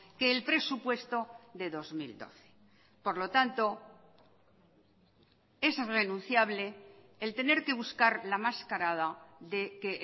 que el presupuesto de dos mil doce por lo tanto es renunciable el tener que buscar la mascarada de que